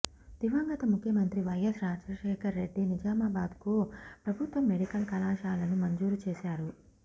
దివంగత ముఖ్యమంత్రి వైఎస్ రాజశేఖరరెడ్డి నిజామాబాద్కు ప్రభుత్వ మెడికల్ కళాశాలను మంజూరు చేశారు